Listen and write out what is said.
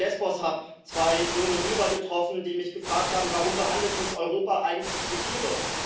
Und ich war auf Lesbos, habe zwei junge Syrer getroffen, die mich gefragt haben Warum behandelt uns Europa eigentlich wie Tiere?